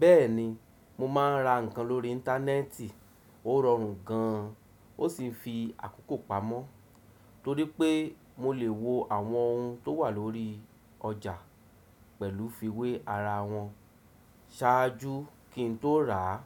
Bẹ́ẹ̀ni, mo máa ń ra ǹkan lórí íńtánẹ́ẹ̀tì. Ó rọrùn gan, ó sì ń fi àkókò pamọ́ torípé mo lè wo àwọn ohun tó wà lórí ọjà pẹ̀lú fiwé ara wọn ṣáájú kí n tó rà á.